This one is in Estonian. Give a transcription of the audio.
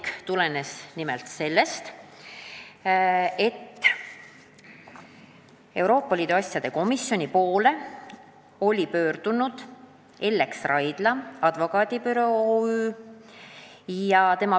See tulenes sellest, et Euroopa Liidu asjade komisjoni poole oli 13. detsembril pöördunud Ellex Raidla Advokaadibüroo OÜ.